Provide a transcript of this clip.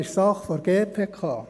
Dies ist Sache der GPK.